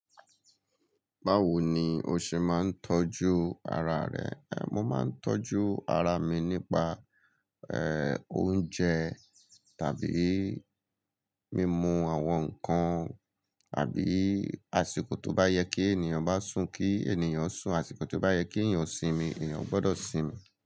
Báwo ni o ṣe máa ń tọ́jú ara rẹ? Mo máa ń tọ́jú ara mi nípa, eh, oúnjẹ tàbí mímu àwọn nǹkan àbí àsìkò tó bá yẹ kí ènìyàn bá sùn kí ènìyàn sùn, àsìkò tó bá yẹ kí ènìyàn sinmi, ènìyàn gbọ́dọ̀ sinmi.